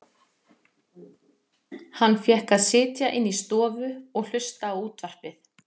Hann fékk að sitja inni í stofu og hlusta á útvarpið.